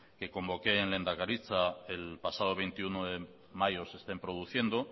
que convoqué en lehendakaritza el pasado veintiuno de mayo se estén produciendo